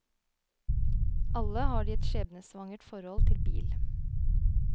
Alle har de et skjebnesvangert forhold til bil.